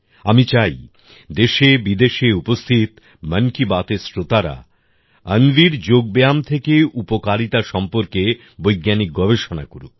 আমি চাই দেশেবিদেশে উপস্থিত মন কি বাতএর শ্রোতারা অন্বির যোগব্যায়াম থেকে উপকারিতা সম্পর্কে বৈজ্ঞানিক গবেষণা করুক